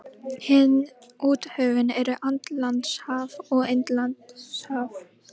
Hin úthöfin eru Atlantshaf og Indlandshaf.